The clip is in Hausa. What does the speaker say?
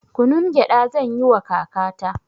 Kunun gyaɗa zanyiwa kakata